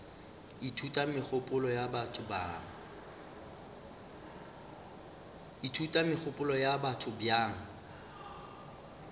ithuta megopolo ya batho bjang